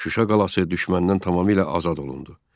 Şuşa qalası düşməndən tamamilə azad olundu.